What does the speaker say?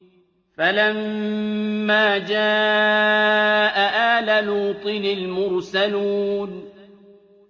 فَلَمَّا جَاءَ آلَ لُوطٍ الْمُرْسَلُونَ